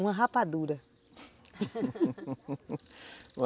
Uma rapadura